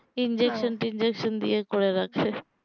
injection injection করে গেছে